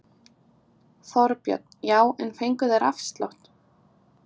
Þorbjörn: Já en fengu þeir afslátt?